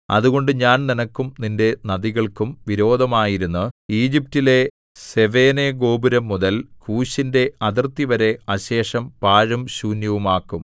അതുകൊണ്ട് ഞാൻ നിനക്കും നിന്റെ നദികൾക്കും വിരോധമായിരുന്ന് ഈജിപ്റ്റിലെ സെവേനെഗോപുരം മുതൽ കൂശിന്റെ അതിർത്തിവരെ അശേഷം പാഴും ശൂന്യവുമാക്കും